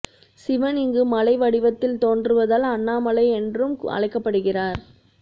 சிவன் இங்கு மலை வடிவத்தில் தோன்றுவதால் அண்ணாமலை என்றும் அழைக்கப்படுகிறார்